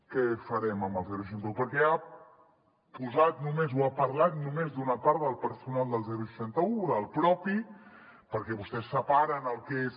què farem amb el seixanta un perquè ha posat només o ha parlat només d’una part del personal del seixanta un del propi perquè vostès separen el que és